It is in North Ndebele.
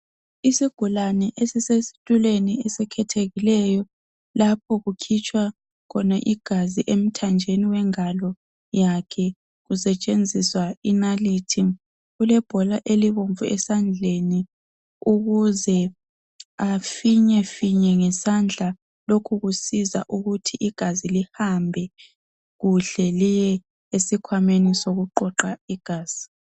Isigulane esisesitulweni esikhethekileyo, lapho kukhitshwa khona igazi emthanjeni wengalo yakhe, kusetshenziswa inalithi. Ulebhola elibomvu esandleni, ukuze afinyefinye ngesandla. Lokhu kusiza ukuthi igazi lihambe kuhle liye esikhwameni sokuqoqa igazi.